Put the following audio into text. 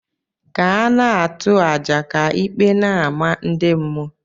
Ka a na-atụ àjà ka ikpe na-ama ndị mmụọ.